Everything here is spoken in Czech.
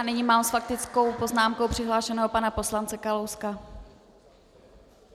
A nyní mám s faktickou poznámkou přihlášeného pana poslance Kalouska.